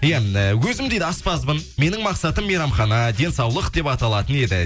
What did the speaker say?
мен өзім дейді аспазбын менің мақсатым мейрамхана денсаулық деп аталатын еді